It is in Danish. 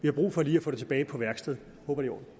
har brug for lige at få det tilbage på værksted